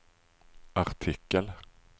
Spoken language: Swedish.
artikel